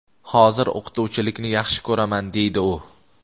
hozir o‘qituvchilikni yaxshi ko‘raman deydi u.